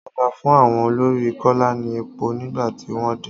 Ọba fún àwọn olórí kola ní èpò nígbà tí wọ́n dé.